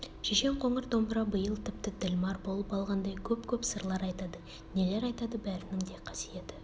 шешен қоңыр домбыра биыл тіпті ділмәр болып алғандай көп-көп сырлар айтады нелер айтады бәрінің де қасиеті